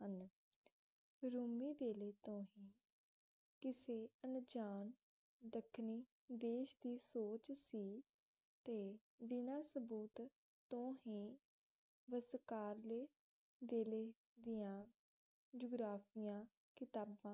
ਅਣਜਾਣ ਦੱਖਣੀ ਦੇਸ਼ ਦੀ ਸੋਚ ਸੀ ਤੇ ਬਿਣਾ ਸਬੂਤ ਤੋਂ ਹੀ ਵਸ਼ਕਾਰਲੇ ਵੇਲੇ ਦੀਆਂ ਜੁਗ਼ਰਾਫ਼ੀਆ ਕਿਤਾਬਾਂ